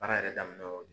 Baara yɛrɛ daminɛ o de don